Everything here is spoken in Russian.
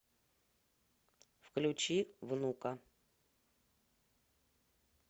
включи внука